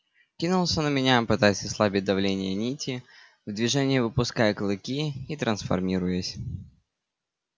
кинулся на меня пытаясь ослабить давление нити в движении выпуская клыки и трансформируясь